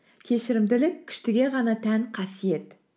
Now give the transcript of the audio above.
кешірімділік күштіге ғана тән қасиет